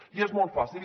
i és molt fàcil